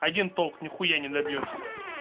один толк нехуя не добьёшься